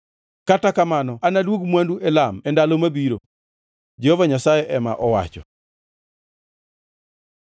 “Kata kamano anaduog mwandu Elam e ndalo ma biro,” Jehova Nyasaye ema owacho.